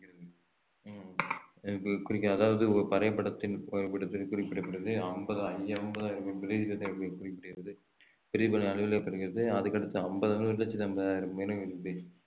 கு~ குறிக்கும் அதாவது அதற்கடுத்து ஐம்பது~ ஒரு லச்சத்து ஐம்பதாயிரம்